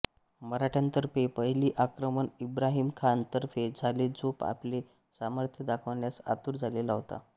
मराठ्यांतर्फे पहिले आक्रमण इब्राहिम खान तर्फे झाले जो आपले सामर्थ्य दाखवण्यास आतूर झालेला होता